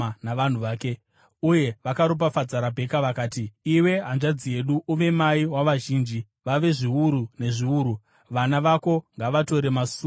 Uye vakaropafadza Rabheka vakati, “Iwe hanzvadzi yedu, uve mai wavazhinji vave zviuru nezviuru; vana vako ngavatore masuo avavengi vavo.”